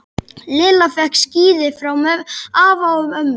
Lilla fékk skíði frá afa og ömmu.